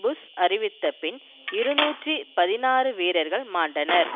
push அறிவித்த பின் இருநூற்றி பதினாறு வீரர்கள் மாண்டனர்